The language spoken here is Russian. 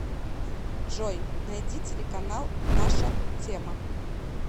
джой найди телеканал наша тема